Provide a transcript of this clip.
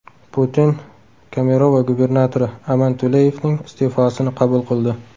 Putin Kemerovo gubernatori Aman Tuleyevning iste’fosini qabul qildi.